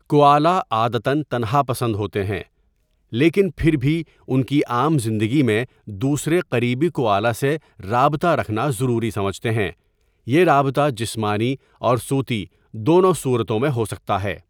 Koala عادتا٘ تنہا پسند ہوتے ہیں لیکن پھر بھی ان کی عام زندگی میں دوسرے قریبی کوآلا سے رابطہ رکھنا ضروری سمجھتے ہیں یہ رابطہ جسمانی اور صوتی دونوں صورتوں میں ہو سکتا ہے.